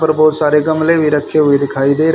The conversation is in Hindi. ऊपर बहोत सारे गमले भी रखे हुए दिखाई दे--